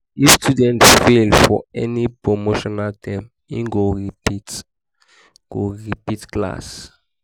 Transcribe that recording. if student fail for any promotion term in go repeat go repeat class